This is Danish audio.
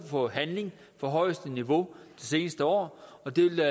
for handling på højeste niveau det seneste år og det vil